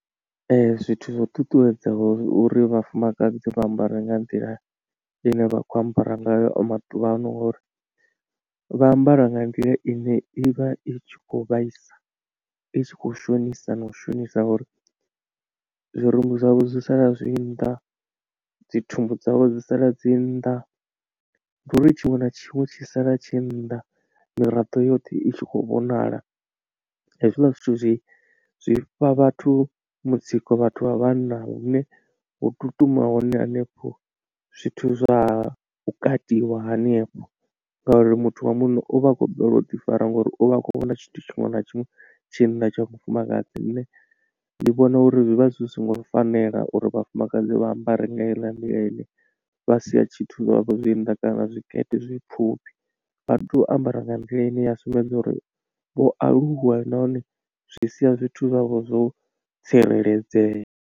Ee zwithu zwa u ṱuṱuwedzaho uri vhafumakadzi vha ambare nga nḓila ine vha khou ambara ngayo maḓuvha ano ori vha ambara nga nḓila ine i vha i tshi khou vhaisa i tshi kho shonisa na u shonisa ngauri zwirumbi zwavho zwi sala zwi nnḓa, dzi thumbu dzavho dzi sala dzi nnḓa ndi uri tshiṅwe na tshiṅwe tshi sala tshi nnḓa miraḓo yoṱhe i tshi khou vhonala. Hezwiḽa zwithu zwi zwi fha vhathu mutsiko vhathu vha vhanna hune hu tutuma hone hanefho zwithu zwa u katiwa hanefho ngauri muthu wa munna u vha a khou balelwa u difara ngori uvha a kho vhona tshithu tshiṅwe na tshiṅwe tshi nnḓa tsha mufumakadzi. Lune ndi vhona uri zwi vha zwi songo fanela uri vhafumakadzi vha ambare nga heiḽa nḓila ine vha sia tshithu zwavho zwi nnḓa kana zwikete zwi pfhufhi vha tea u ambara nga nḓila ine ya sumbedza uri vho aluwa nahone zwi sia zwithu zwavho zwo tsireledzea.